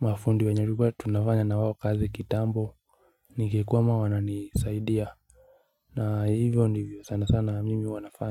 mafundi wenye tulikua tunafanya na wao kazi kitambo Nikikwama wananisaidia na hivyo ndivyo sana sana mimi huwa nafanya.